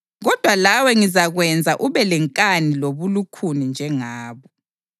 Kodwa lawe ngizakwenza ube lenkani lobulukhuni njengabo.